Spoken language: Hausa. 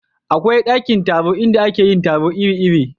akwai ɗakin taro inda ake yin taro iri iri